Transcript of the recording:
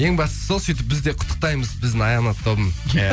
ең бастысы ол сөйтіп бізде құттықтаймыз біздің аянат тобын иә